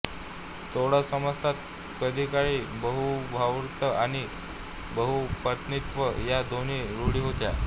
तोडा समाजात कधीकाळी बहुभार्तृत्व आणि बहुपत्नीत्व या दोन्ही रूढी होत्या